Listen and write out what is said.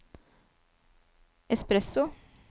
espresso